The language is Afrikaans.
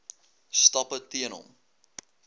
stappe teen hom